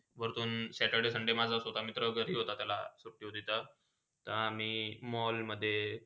व्रतून saturday, sunday माझा स्वत मित्रा घरी होता त्याला सुटती होती तर, ते आम्ही mall. मध्ये